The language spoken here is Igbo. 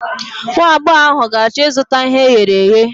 Nwagbọghọ ahụ ga-achọ ịzụta ihe e ghere eghe.